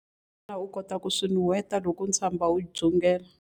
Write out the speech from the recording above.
Xana u kota ku swi nuheta loko ntswamba wu dzungela?